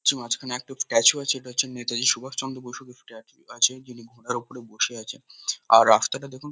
ছু মাঝখানে একটা উঁচু স্ট্যাচু আছে। এটা হচ্ছে নেতাজি সুভাষচন্দ্র বসুর ওই স্ট্যাচু -টি আছে যিনি ঘোড়ার ওপরে বসে আছেন। আর রাস্তাটা দেখুন ।